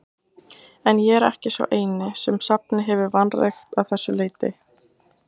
En ég er ekki sá eini, sem safnið hefur vanrækt að þessu leyti.